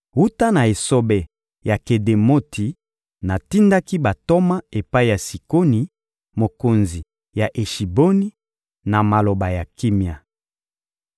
Wuta na esobe ya Kedemoti, natindaki bantoma epai ya Sikoni, mokonzi ya Eshiboni, na maloba ya kimia.